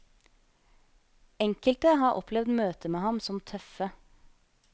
Enkelte har opplevet møter med ham som tøffe.